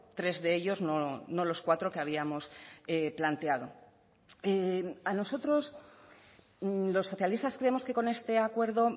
tres de ellos no los cuatro que habíamos planteado a nosotros los socialistas creemos que con este acuerdo